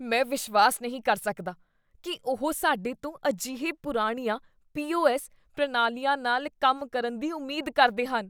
ਮੈਂ ਵਿਸ਼ਵਾਸ ਨਹੀਂ ਕਰ ਸਕਦਾ ਕੀ ਉਹ ਸਾਡੇ ਤੋਂ ਅਜਿਹੇ ਪੁਰਾਣੀਆਂ ਪੀ.ਓ.ਐੱਸ. ਪ੍ਰਣਾਲੀਆਂ ਨਾਲ ਕੰਮ ਕਰਨ ਦੀ ਉਮੀਦ ਕਰਦੇ ਹਨ।